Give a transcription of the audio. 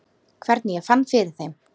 Hvernig ég fann fyrir þeim?